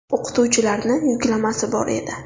O‘qituvchilarni yuklamasi bor edi.